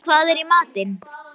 Hædý, hvað er í matinn?